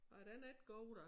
Nej den er ikke god da